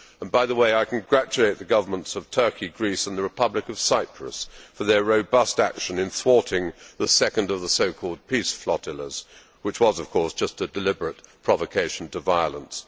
By the way, I congratulate the governments of Turkey, Greece and the Republic of Cyprus for their robust action in thwarting the second of the so called peace flotillas', which was of course just a deliberate provocation to violence.